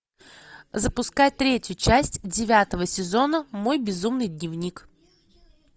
запускай третью часть девятого сезона мой безумный дневник